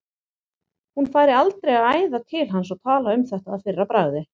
Hún færi aldrei að æða til hans og tala um þetta að fyrra bragði.